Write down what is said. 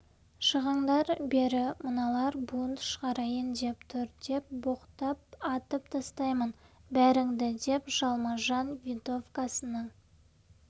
шығыңдар бері мыналар бунт шығарайын деп тұр деп боқтап атып тастаймын бәріңді деп жалма-жан винтовкасының